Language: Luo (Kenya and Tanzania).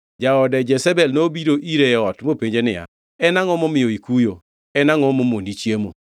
Jaode Jezebel nobiro ire e ot mopenje niya, “En angʼo momiyo ikuyo? En angʼo momoni chiemo?”